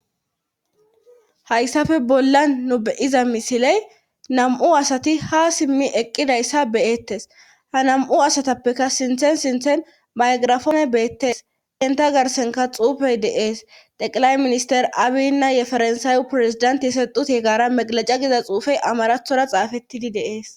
hayssafe bolla nubeyiza misiley nam7u asati ha simmi eqqidayssa beyettes ha nam7u asatappeka sinthen sinthen baygrafoone beettes qenta garsenka xuufey deees teqilay minister abinnaye farnsaawu pirezidanti yesexuti gaara meqlaca giza xuufey amarathora xaafettidi deees